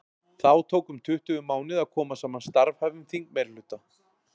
þá tók um tuttugu mánuði að koma saman starfhæfum þingmeirihluta